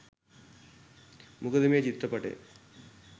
මොකද මේ චිත්‍රපටය